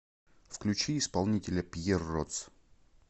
включи исполнителя пьерротс